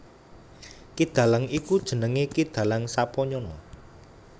Ki Dalang iku jenengé Ki Dalang Sapanyana